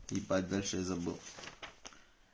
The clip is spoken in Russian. ебать дальше я забыл